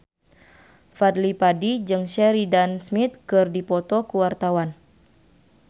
Fadly Padi jeung Sheridan Smith keur dipoto ku wartawan